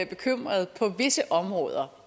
bekymret på visse områder